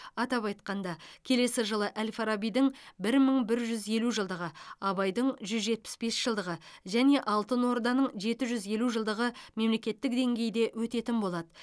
атап айтқанда келесі жылы әл фарабидің бір мың бір жүз елу жылдығы абайдың жүз жетпіс бес жылдығы және алтын орданың жеті жүз елу жылдығы мемлекеттік деңгейде өтетін болады